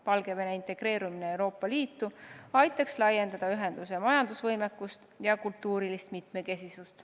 Valgevene integreerumine Euroopa Liitu aitaks laiendada ühenduse majandusvõimekust ja kultuurilist mitmekesisust.